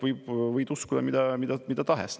Seal võid uskuda mida tahes.